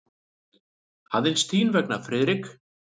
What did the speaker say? Aðeins þín vegna, Friðrik.